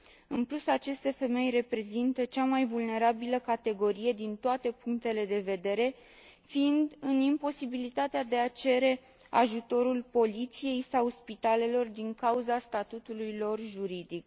În plus, aceste femei reprezintă cea mai vulnerabilă categorie din toate punctele de vedere, fiind în imposibilitatea de a cere ajutorul poliției sau spitalelor din cauza statutului lor juridic.